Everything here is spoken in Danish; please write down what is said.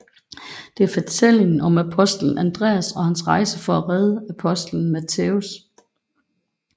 Det er fortællingen om apostelen Andreas og hans rejse for at redde apostelen Mattæus